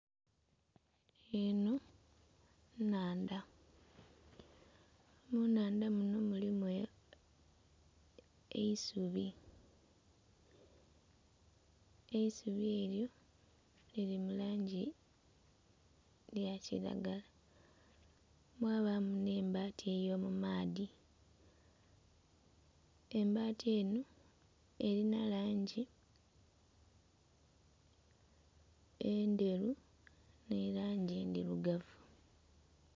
Eno nnhandha, mu nnhandha munho mulimu eisubi. Eisubi elyo liri mu langi eya kilagala, mwabaamu nh'embaati ey'omumaadhi, embati enho erina langi endheru n'elangi endhirugavu.